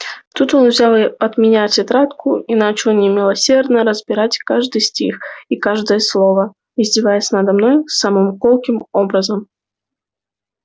тут он взял от меня тетрадку и начал немилосердно разбирать каждый стих и каждое слово издеваясь надо мной самым колким образом